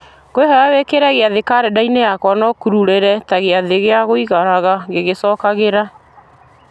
ngũkwĩhoya wĩkĩre gĩathĩ karenda-inĩ yakwa na ũkururĩre ta gĩathĩ gĩa gũikaraga gĩgĩcokagĩra